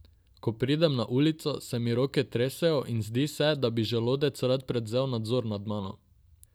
Ko pridem na ulico, se mi roke tresejo in zdi se, da bi želodec rad prevzel nadzor nad mano.